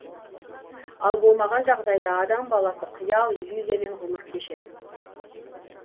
ал болмаған жағдайда адам баласы қиял иллюзиямен ғұмыр кешеді